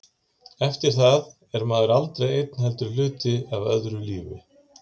Eftir það er maður aldrei einn heldur hluti af öðru lífi.